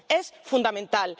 Es fundamental.